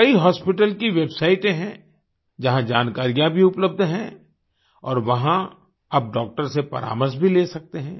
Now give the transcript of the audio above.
कई हॉस्पिटल की वेबसाइटें हैं जहां जानकारियाँ भी उपलब्ध हैं और वहां आप डॉक्टर्स से परामर्श भी ले सकते हैं